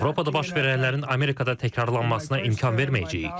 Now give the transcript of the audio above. Avropada baş verənlərin Amerikada təkrarlanmasına imkan verməyəcəyik.